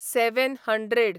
seven hundred